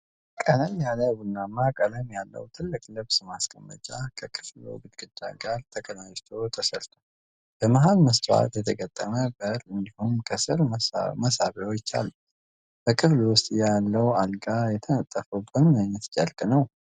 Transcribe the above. ቀለል ያለ ቡናማ ቀለም ያለው ትልቅ ልብስ ማስቀመጫ ከክፍሉ ግድግዳ ጋር ተቀናጅቶ ተሰራ። በመሃል መስታወት የተገጠመ በር እንዲሁም ከስር መሳቢያዎች አሉት። በክፍሉ ውስጥ ያለው አልጋ የተነጠፈው በምን አይነት ጨርቅ ነው?